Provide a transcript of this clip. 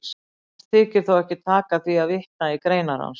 Oft þykir þó ekki taka því að vitna í greinar hans.